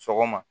Sɔgɔma